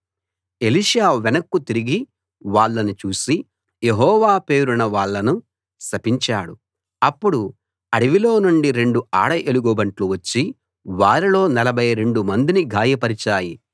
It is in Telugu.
ఎలీషా వెనక్కు తిరిగి వాళ్ళను చూసి యెహోవా పేరున వాళ్ళను శపించాడు అప్పుడు అడవిలో నుండి రెండు ఆడ ఎలుగు బంట్లు వచ్చి వారిలో నలభై రెండు మందిని గాయపరిచాయి